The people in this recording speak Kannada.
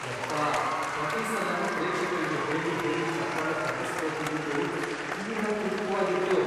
ಯಪ್ಪಾ ಪ್ರತೀ ಸಲನೂ ಪ್ರೇಕ್ಷಕ್ರಿಗೆ ಹೇಳಿ ಹೇಳಿ ಚಪ್ಪಾಳೆ ತಟ್ಟಿಸ್ಕೊತಿದ್ದಿದ್ದು ತೀರಾ ಕೃತಕ್ವಾಗಿತ್ತು.